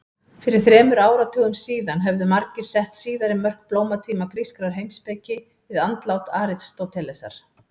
Fyrir þremur áratugum síðan hefðu margir sett síðari mörk blómatíma grískrar heimspeki við andlát Aristótelesar.